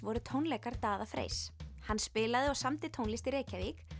voru tónleikar Daða Freys hann spilaði og samdi tónlist í Reykjavík